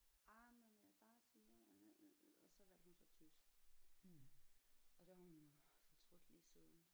Jamen far siger og så valgte hun så tysk og det har hun jo fortrudt lige siden